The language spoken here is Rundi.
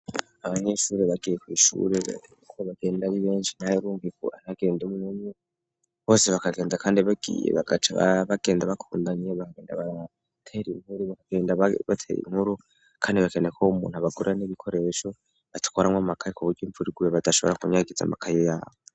Abanyesure bagiye kw'ishure bagenda bi benshi naye rumvi aragenda mnemye bose bakagenda kandi bagiye bagaca babagenda bakundanye bakagenda batere inkuru bakagenda bateye inkuru kandi bakene ko bo'umuntu abagura n'ibikoresho batwaranwa makaye ku buryo imvurigube badashobora kunyagiza makaye yabo.